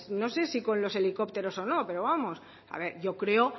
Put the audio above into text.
no sé si con los helicópteros o no pero vamos a ver yo creo